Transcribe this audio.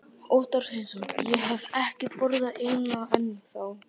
Óttar Sveinsson: Ég hef ekki borðað eina ennþá?